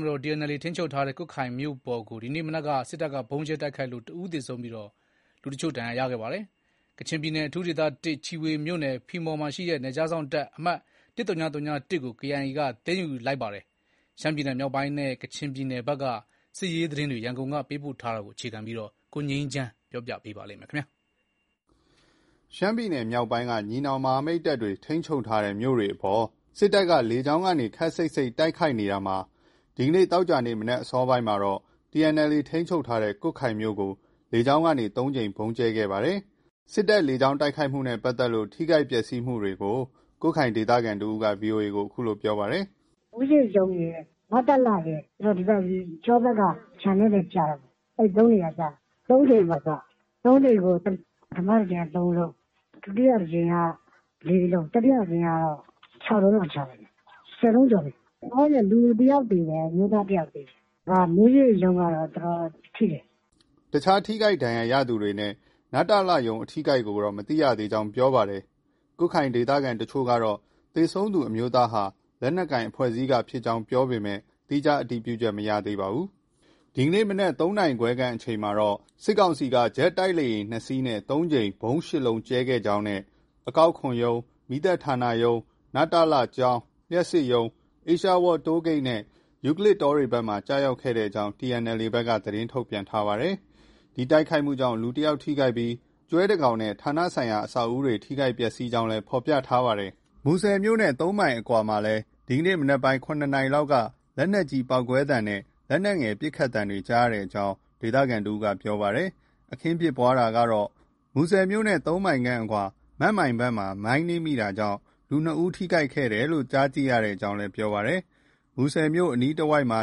မတော် TNLA ထိန်းချုပ်ထားတဲ့ ကွတ်ခိုင်မြို့ပေါ်ကို ဒီနေ့မနက်က စစ်တပ်က ဗုံးကြဲတိုက်ခိုက်ခဲ့လို့ တဦး သေဆုံးပြီး တချို့ ဒဏ်ရာရခဲ့ပါတယ်။ ကချင်ပြည်နယ် အထူးဒေသ ၁၊ ချီဖွေမြို့နယ် ဖီမော်ရှိ နယ်ခြားစောင့်တပ် အမှတ် ၁၀၀၁ ကိုလည်း KIA က သိမ်းယူလိုက်ကြောင်း သတင်းတွေလည်း ထွက်ပေါ်နေပါတယ်။ ရှမ်းပြည်နယ်မြောက်ပိုင်းနဲ့ ကချင်ပြည်နယ်ဘက်က စစ်ရေးသတင်း ရန်ကုန်ကပေးပို့တဲ့သတင်းကို အခြေခံပြီး တင်ပြထားပါတယ်။ ရှမ်းပြည်နယ် မြောက်ပိုင်းက ညီနောင်မဟာမိတ်တပ်တွေ ထိန်းချုပ်ထားတဲ့ မြို့တွေအပေါ် စစ်တပ်က လေကြောင်းနဲ့ ခပ်စိပ်စိပ် တိုက်ခိုက်နေတာမှာ ဒီကနေ့ သောကြာနေ့ မနက် အစောပိုင်းမှာတော့ TNLA ထိန်းချုပ်ထားတဲ့ ကွတ်ခိုင်မြို့ကို လေကြောင်းကနေ ၃ ကြိမ် ဗုံးကြဲတိုက်ခိုက်ခဲ့ပါတယ်။ စစ်တပ်လေကြောင်း တိုက်ခိုက်မှုနဲ့ပတ်သက်လို့ ထိခိုက် ပျက်စီးမှုတွေကို ကွတ်ခိုင်ဒေသခံတဦးက VOA ကို အခုလို ပြောပါတယ်။ “မူးယစ်ရုံးရယ်၊ နတလရယ် ပြီးတော့ ဒီဘက် ကျောဘက်က ခြံထဲလည်း ကျတယ်ပေါ့။ ၃ နေရာကျတာ။ ၃ ကြိမ်ပေါ့သူက။ ၃ ကြိမ်ကို ပထမတကြိမ်က ၃လုံး။ ဒုတိယတကြိမ်က ၄ လုံး။ တတိယတကြိမ်က ၆ လုံးလောက် ချတယ်ဗျ။ ၁၀ လုံးကျော်တယ်။ လောလောဆည် လူတယောက်သေတယ်။ အမျိုးသားတယောက် သေတယ်။ မူးယစ်ရုံးကတော့ တော်တော်ထိတယ်။” အခြား ထိခိုက်ဒဏ်ရာရသူတွေနဲ့ နတလရုံး ( နယ်စပ်ဒေသနဲ့ တိုင်းရင်းသားလူမျိုးများဖွံ့ဖြိုးတိုးတက်ရေး ဦးစီးဌာန) အထိအခိုက်ကိုတော့ မသိရသေးကြောင်းပြောပါတယ်။ ကွတ်ခိုင်ဒေသခံတချို့ကတော့ သေဆုံးသူအမျိုးသားဟာ လက်နက်ကိုင် အဖွဲ့အစည်းက ဖြစ်ကြောင်း ပြောဆိုပေမဲ့ သီးခြားတည်ပြုချက်မရသေးပါဘူး။ ဒီကနေ့မနက် ၃ နာရီခွဲ အချိန်ခန့်မှာ စစ်ကောင်စီက ဂျက်တိုက်လေယာဉ် ၂ စီးနဲ့ ၃ ကြိမ်၊ ဗုံး ၈ လုံး ကြဲချခဲ့ကြောင်း၊ အကောက်ခွန်ရုံး၊ မီးသတ်ဌာနရုံး၊ နတလ ကျောင်း၊ လျှပ်စစ်ရုံး၊ အေးရှားဝါးလ် တိုးဂိတ်နဲ့ ယူကလစ်တောဘက်တွေမှာ ကျရောက်ကြောင်း TNLA ဘက်က သတင်းထုတ်ပြန်ထားပါတယ်။ ဒီတိုက်ခိုက်မှုကြောင့် လူတယောက် ထိခိုက်ပြီး ကျွဲတကောင်နဲ့ ဌာနဆိုင်ရာ အဆောက်အဦတွေ ထိခိုက်ပျက်ဆီးကြောင်းလည်း ဖော်ပြထားပါတယ်။ မူဆယ်မြို့နဲ့ ၃ မိုင်အကွာမှာလည်း ဒီကနေ့ မနက်ပိုင်း ၇နာရီလောက်က လက်နက်ကြီးပေါက်ကွဲသံနဲ့ လက်နက်ငယ်ပစ်ခတ်သံတွေ ကြားရကြောင်း ဒေသခံတဦးက ပြောဆိုပါတယ်။ အခင်းဖြစ်ပွားတာကတော့ မူဆယ်မြို့နဲ့ ၃မိုင်အကွာ မန့်မိုင်ဘက်မှာ မိုင်းနင်းမိတာကြောင့် လူ ၂ယောက် ထိခိုက်တယ်လို့ ကြားသိရကြောင်းလည်း ပြောပါတယ်။ မူဆယ်မြို့အနီးတဝိုက်မှာ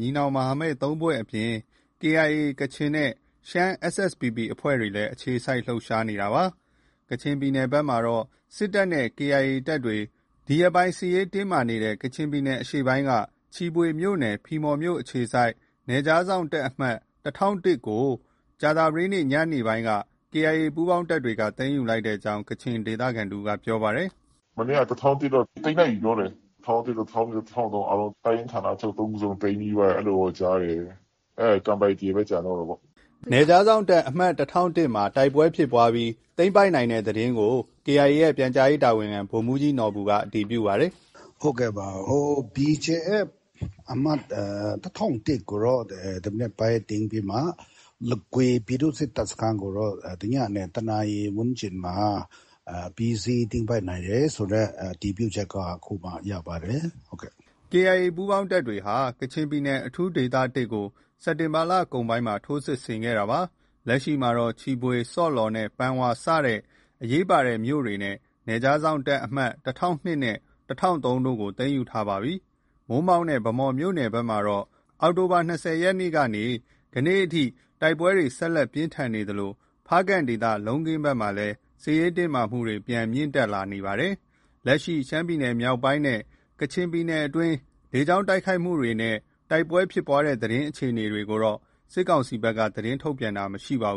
ညီနောင်မဟာမိတ် ၃ ဖွဲ့အပြင် ကချင်KIA နဲ့ ရှမ်း SSPP အဖွဲ့တွေ အခြေစိုက် လှုပ်ရှားနေတာဖြစ်ပါတယ်။ ကချင်ပြည်နယ်ဘက်မှာတော့ စစ်တပ်နဲ့ KIA ကချင်တပ်တွေ ဒီရက်ပိုင်း စစ်ရေးတင်းမာနေတဲ့ ကချင်ပြည်နယ် အရှေ့ပိုင်းက ချီဖွေမြို့နယ် ဖီမော်မြို့အခြေစိုက် နယ်ခြားစောင့်တပ် အမှတ် ၁၀၀၁ ကို ကြာသပတေးနေ့ညနေပိုင်းက KIA ပူးပေါင်းတပ်တွေက သိမ်းယူလိုက်ကြောင်း ကချင်ဒေသခံ တဦးက ပြောပါတယ်။ “မနေ့က ၁၀၀၁ တော့ သိမ်းလိုက်ပြီပြောတယ်။ ၁၀၀၁၊ ၁၀၀၂၊ ၁၀၀၃ တပ်ရင်းဌာနချုပ် ၃ ခုစလုံး သိမ်းပြီးသွားပြီ အဲလိုတော့ ကြားတယ်။ ကန်ပိုက်တီပဲ ကျန်တော့တာပေါ့။” နယ်ခြားစောင့်တပ် အမှတ် ၁၀၀၁ မှာ တိုက်ပွဲဖြစ်ပွားတာတွေ ရှိပေမဲ့ သိမ်းပိုက်နိုင်ခဲ့ကြောင်း KIA ရဲ့ ပြန်ကြားရေးတာဝန်ခံ ဗိုလ်မှုးကြီးနော်ဘူက အတည်ပြုပါတယ်။ “ဟုတ်ကဲ့ပါ။ BGF အမှတ် ၁၀၀၁ ကို ဒီမနက်ပိုင်းသိမ်းပြီးမှ လဂွေပြည်သူ့စစ်တပ်စခန်းကိုတော့ ညနေ ၁ နာရီဝန်းကျင်မှာ အပြီးအစီးသိမ်းပိုက်နိုင်တယ်ဆိုတဲ့ အတည်ပြုချက်ကိုအခုပဲရပါတယ်။” KIA ပူးပေါင်းတပ်တွေဟာ ကချင်ပြည်နယ် အထူးဒေသ ၁ ကို စက်တင်ဘာလကုန်ပိုင်းမှာ ထိုးစစ်ဆင်ခဲ့တာပါ။ လက်ရှိမှာတော့ ချီဖွေ၊ ဆော့လော်နဲ့ ပန်ဝါ စတဲ့ အရေးပါတဲ့ မြို့တွေနဲ့ နယ်ခြားစောင့်တပ် အမှတ် ၁၀၀၂ နဲ့ ၁၀၀၃ တို့ကို သိမ်းယူထားပြီဖြစ်ပါတယ်။ မိုးမောက်နဲ့ ဗန်းမော် မြို့နယ်ဘက်မှာတော့ အောက်တိုဘာလ ၂၀ရက်နေ့ကနေ ယနေ့အထိ တိုက်ပွဲတွေ ဆက်လက် ပြင်းထန်သလို ဖားကန့်ဒေသ လုံးခင်းဘက်မှာလည်း စစ်ရေးတင်းမာမှုတွေ ပြန်လည် မြင့်တက်လာနေပါတယ်။ လက်ရှိ ရှမ်းမြောက်နဲ့ ကချင်ပြည်နယ်အတွင်း လေကြောင်းတိုက်ခိုက်တာနဲ့ တိုက်ပွဲဖြစ်ပွားတဲ့အခြေအနေတွေကိုတော့ စစ်ကောင်စီဘက်က သတင်းထုတ်ပြန်တာ မရှိပါဘူး